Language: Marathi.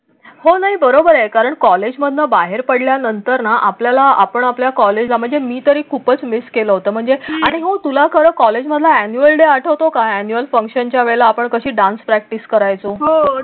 हो नाही बरोबर आहे कारण कॉलेजमधून बाहेर पडल्यानंतरना आपल्याला आपण आपल्या कॉलेजमध्ये मी तरी खूपच मिस केलं होतं म्हणू तुला कर कॉलेज मला ऍन्युअल डे आठवतो का? ऍन्युअल फंक्शन ज्या वेळेला आपण कशी डान्स प्रॅक्टिस करायचं हो.